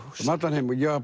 um allan heim já